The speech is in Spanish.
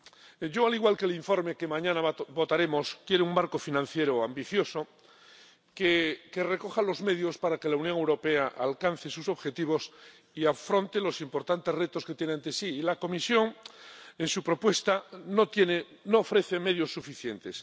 Señor presidente, yo, al igual que el informe que mañana votaremos, quiero un marco financiero ambicioso que recoja los medios para que la Unión Europea alcance sus objetivos y afronte los importantes retos que tiene ante sí, y la Comisión, en su propuesta, no ofrece medios suficientes.